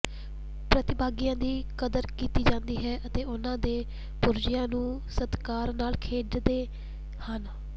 ਪ੍ਰਤੀਭਾਗੀਆਂ ਦੀ ਕਦਰ ਕੀਤੀ ਜਾਂਦੀ ਹੈ ਅਤੇ ਉਨ੍ਹਾਂ ਦੇ ਪੁਰਜ਼ਿਆਂ ਨੂੰ ਸਤਿਕਾਰ ਨਾਲ ਖੇਡਦੇ ਹਨ